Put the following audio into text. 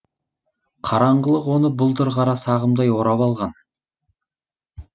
қараңғылық оны бұлдыр қара сағымдай орап алған